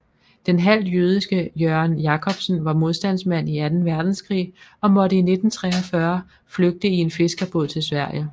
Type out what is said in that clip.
Den halvt jødiske Jørgen Jacobsen var modstandsmand i Anden Verdenskrig og måtte i 1943 flygte i en fiskerbåd til Sverige